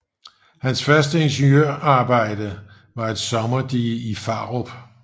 Hans første ingeniørarbejde var et sommerdige i Farup